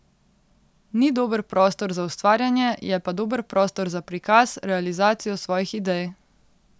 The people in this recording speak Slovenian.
Ni dober prostor za ustvarjanje, je pa dober prostor za prikaz, realizacijo svojih idej.